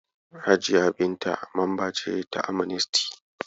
Hajiya Binta mamba ce ta Amnesty.